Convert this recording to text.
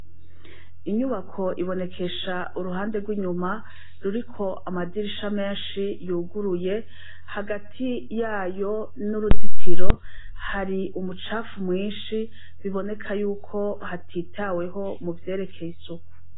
Inyubako ibonekesha uruhande rw' inyuma, ruriko amadirisha menshi yuguruye, hagati yayo n' uruzitiro, hari umicafu mwinshi, biboneka yuko hatitaweho mu ivyerekeye isuku.